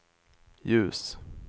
ljus